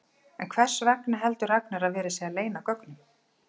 En hvers vegna heldur Ragnar að verið sé að leyna gögnum?